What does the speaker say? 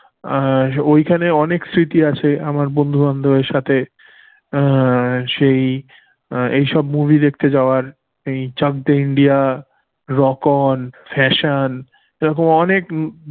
আর ওইখানে অনেক স্মৃতি আছে আমার বন্ধুবান্ধবের স অ্যাঁ সেই এইসব movie দেখতে যাওয়ার সেই চাকদে ইন্ডিয়া, রক অন, ফ্যাশন এই রকম অনেক